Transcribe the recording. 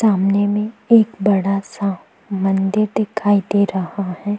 सामने में एक बड़ा सा मंदिर दिखाई दे रहा है ।